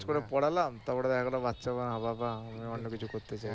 খরচ করে পড়ালাম তারপর দেখা গেল অন্যকিছু করতেছে